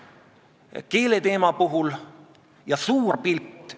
Toomas Jürgenstein tegi ettepaneku lükata esimese lugemise lõpetamise otsuse tegemine päev edasi.